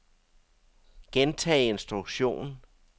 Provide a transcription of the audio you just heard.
gentag instruktion